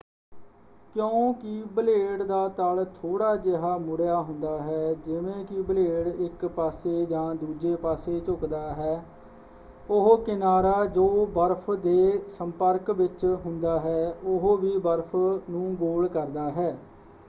ਕਿਉਂਕਿ ਬਲੇਡ ਦਾ ਤਲ ਥੋੜ੍ਹਾ ਜਿਹਾ ਮੁੜਿਆ ਹੁੰਦਾ ਹੈ ਜਿਵੇਂ ਕਿ ਬਲੇਡ ਇੱਕ ਪਾਸੇ ਜਾਂ ਦੂਜੇ ਪਾਸੇ ਝੁਕਦਾ ਹੈ ਉਹ ਕਿਨਾਰਾ ਜੋ ਬਰਫ਼਼ ਦੇ ਸੰਪਰਕ ਵਿੱਚ ਹੁੰਦਾ ਹੈ ਉਹ ਵੀ ਬਰਫ਼ ਨੂੰ ਗੋਲ ਕਰਦਾ ਹੈ।